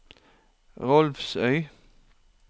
Rolvsøy